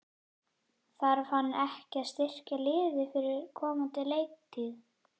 Þarf hann ekki að styrkja liðið fyrir komandi leiktíð?